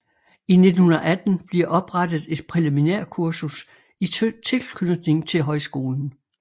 I 1918 blever oprettet et præliminærkursus i tilknytning til højskolen